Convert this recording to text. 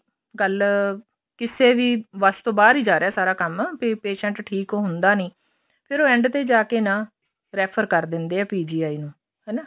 ਗੱਲ ਕਿਸੇ ਵੀ ਵੱਸ ਤੋਂ ਬਹਾਰ ਹੀ ਜਾ ਰਿਹਾ ਸਾਰਾ ਕੰਮ ਵੀ patient ਠੀਕ ਹੁੰਦਾ ਨੀ ਫ਼ਿਰ ਉਹ end ਤੇ ਜਾਕੇ ਨਾ refer ਕਰ ਦਿੰਦੇ ਹੈ PGI ਨੂੰ ਹਨਾ